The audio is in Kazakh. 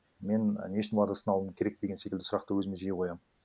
мен не үшін оларды сынауым керек деген секілді сұрақты өзіме жиі қоямын